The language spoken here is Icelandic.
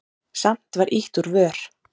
Samt var ýtt úr vör.